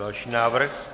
Další návrh.